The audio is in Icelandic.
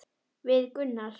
Við Gunnar?